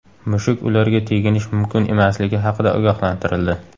Mushuk ularga teginish mumkin emasligi haqida ogohlantirildi.